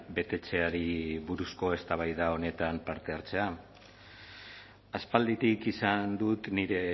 betetzeari buruzko eztabaida honetan parte hartzea aspalditik izan dut nire